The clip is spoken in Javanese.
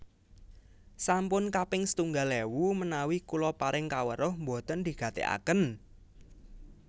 Sampun kaping setunggal ewu menawi kula paring kaweruh mboten digateaken